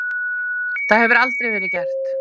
Það hefur aldrei verið gert.